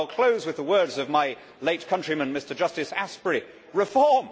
I will close with the words of my late countryman Mr Justice Asprey Reform?